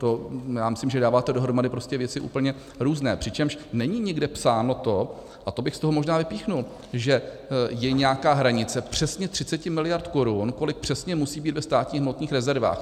To já myslím, že dáváte dohromady prostě věci úplně různé, přičemž není nikde psáno to, a to bych z toho možná vypíchl, že je nějaká hranice přesně 30 miliard korun, kolik přesně musí být ve státních hmotných rezervách.